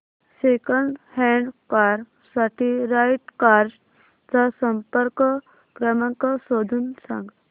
second hand car साठी Right Cars चा संपर्क क्रमांक शोधून सांग